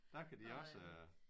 Der kan de også